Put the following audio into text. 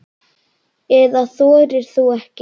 Eða þorir þú ekki?